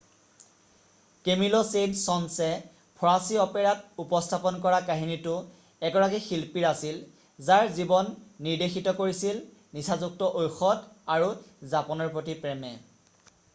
কেমিল Saint Saëns ফঁৰাচী অপেৰাত উপস্থাপন কৰা কাহিনীটো এগৰাকী শিল্পীৰ আছিল যাৰ জীৱন নিৰ্দেশিত কৰিছিল নিচাযুক্ত ঔষধ আৰু জাপানৰ প্ৰতি প্ৰেমে ”।